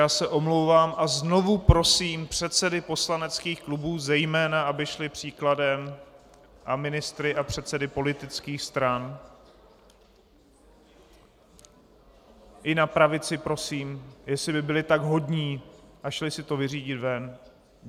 Já se omlouvám a znovu prosím předsedy poslaneckých klubů zejména, aby šli příkladem, a ministry a předsedy politických stran, i na pravici prosím, jestli by byli tak hodní a šli si to vyřídit ven.